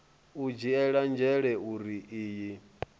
u dzhiela nzhele uri iyi